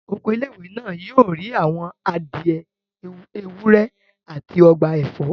Oko ilé-ìwé náà yóò ní àwọn adìẹ, ewúr, àti ọgbà ẹ̀fọ́